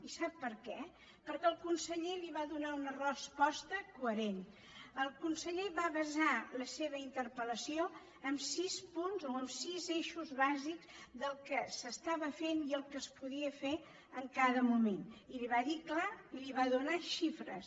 i sap per què perquè el conseller li va donar una resposta coherent el conseller va basar la seva interpel·lació en sis punts o en sis eixos bàsics del que s’estava fent i el que es podia fer en cada moment i li ho va dir clar i li’n va donar xifres